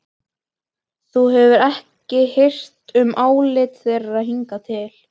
Þú hefur ekki hirt um álit þeirra hingað til.